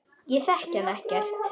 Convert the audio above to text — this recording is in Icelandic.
Segðu það ekki Lalli!